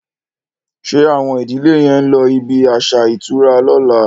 Ṣe Awon ìdílè yén ló ibí aṣa ìtura lọ̀la?